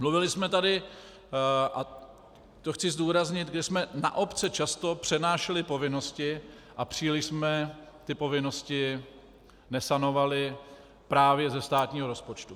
Mluvili jsme tady, a to chci zdůraznit, že jsme na obce často přenášeli povinnosti a příliš jsme ty povinnosti nesanovali právě ze státního rozpočtu.